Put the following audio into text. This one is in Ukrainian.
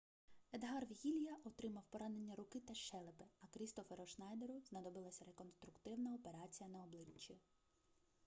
едгар вегілья отримав поранення руки та щелепи а крістоферу шнайдеру знадобилася реконструктивна операція на обличчі